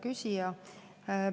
Hea küsija!